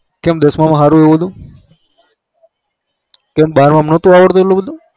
કેમ દસ માંમ હારું હતું કેમ બાર mam નાતુ આવડતું એટલું બધું